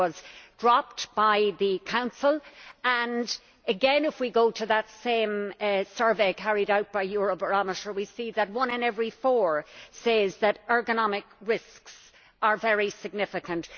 That was dropped by the Council, but again, if we go to that same survey carried out by Eurobarometer, we see that one in every four says that ergonomic risks are very significant.